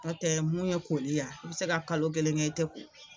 Nɔtɛ mun ye koli ya i bɛ se ka kalo kelen kɛ i tɛ ko.